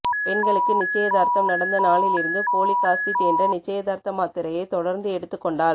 பெண்களுக்கு நிச்சயதார்த்தம் நடந்த நாளில் இருந்து போலிக் ஆசிட் என்ற நிச்சயதார்த்த மாத்திரையை தொடர்ந்து எடுத்துக்கொண்டால்